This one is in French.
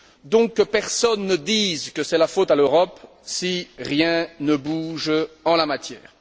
Donc, que personne ne dise que c'est la faute de l'Europe si rien ne bouge en la matière.